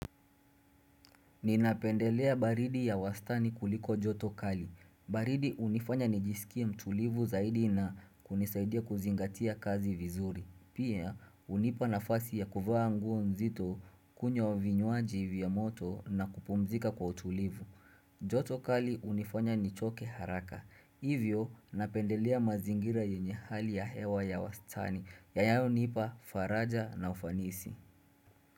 Ninapendelea baridi ya wastani kuliko joto kali. Baridi hunifanya nijisikia mtulivu zaidi na kunisaidia kuzingatia kazi vizuri. Pia hunipa nafasi ya kuvaa nguo mzito kunywa vinywaji vya moto na kupumzika kwa utulivu. Joto kali hunifanya nichoke haraka. Hivyo napendelea mazingira yenye hali ya hewa ya wastani. Yanayonipa faraja na ufanisi.